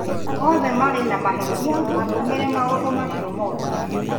Othe maarĩ na mahĩtia matũmire maũndũ macio moke